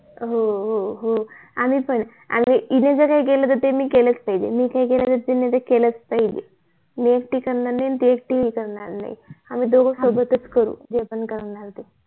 हो हो हो आम्ही पण आणि ती जे करेल ते मी पण केलच पाहिजे जर मी ते केल नाही तर ती पण ते करायची नाही दोघ सोबतच करून जे करायचं आहे ते